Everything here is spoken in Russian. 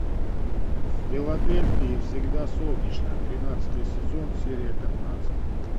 в филадельфии всегда солнечно тринадцатый сезон серия пятнадцать